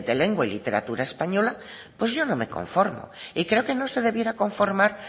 lengua y literatura española pues yo no me conformo y creo que no se debiera conformar